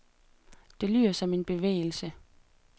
Det lyder som en besværgelse.